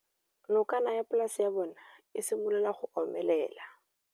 Nokana ya polase ya bona, e simolola go omelela.